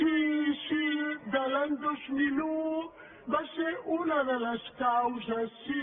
sí sí de l’any dos mil un va ser una de les causes sí